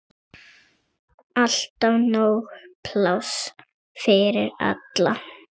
Alltaf nóg pláss fyrir alla.